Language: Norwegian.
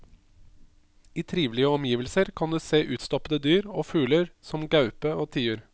I trivelige omgivelser kan du se utstoppede dyr og fugler som gaupe og tiur.